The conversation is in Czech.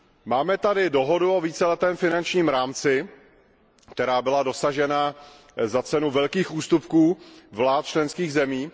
Máme tady dohodu o víceletém finančním rámci, která byla dosažena za cenu velkých ústupků vlád členských zemí.